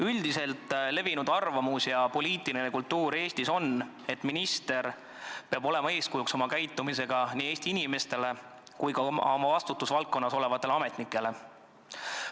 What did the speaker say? Üldiselt levinud arvamus ja poliitiline kultuur Eestis on, et minister peab oma käitumisega olema eeskujuks kõigile Eesti inimestele, sh oma vastutusvaldkonnas olevatele ametnikele.